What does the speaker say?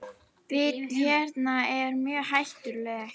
Bit hennar er mjög hættulegt.